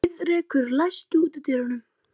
Heiðrekur, læstu útidyrunum.